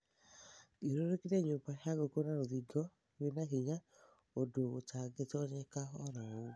Thiũrũrũkĩria nyũmba ya ngũkũ na rũthingo rwĩ na hinya ũndũ gũtangĩtonyeka oro ũguo.